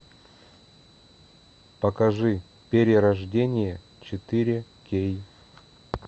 покажи перерождение четыре кей